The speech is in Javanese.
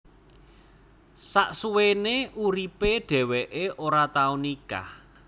Sasuwene uripe dheweke ora tau nikah